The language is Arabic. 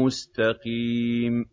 مُّسْتَقِيمٍ